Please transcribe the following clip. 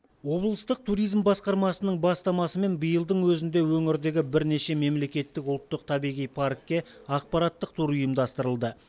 облыстық туризм басқармасының бастамасымен биылдың өзінде өңірдегі бірнеше мемлекеттік ұлттық табиғи паркке ақпараттық тур ұйымдастырылды